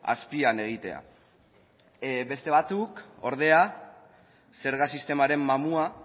azpian egitea beste batzuk ordea zerga sistemaren mamua